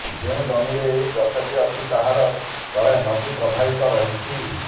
ଯେଉଁ ଜମିରେ ଏହି ଗଛଟି ଅଛି ତାହାର ତଳେ ନଦୀ ପ୍ରବାହିତ ରହିଛି